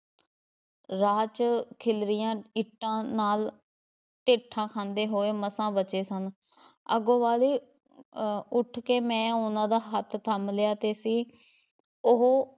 ਰਾਹ ‘ਚ ਖ਼ਿੱਲਰੀਆਂ ਇੱਟਾਂ ਨਾਲ਼ ਠੇਡਾ ਖਾਂਦੇ ਹੋਏ ਮਸਾਂ ਬਚੇ ਸਨ ਅੱਗੋਂ ਵਾਲੀ ਅਹ ਉੱਠ ਕੇ ਮੈਂ ਉਹਨਾਂ ਦਾ ਹੱਥ ਥੰਮ੍ਹ ਲਿਆ ਤੇ ਸੀ ਉਹ